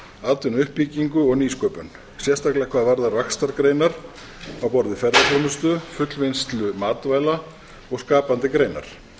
atvinnuuppbyggingu og nýsköpun sérstaklega hvað varðar vaxtargreinar á borð við ferðaþjónustu fullvinnslu matvæla og skapandi greinar